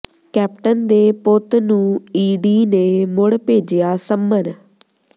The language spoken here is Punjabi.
ਕੈਪਟਨ ਦੇ ਪੁੱਤ ਨੂੰ ਈਡੀ ਨੇ ਮੁੜ ਭੇਜਿਆ ਸੰਮਨ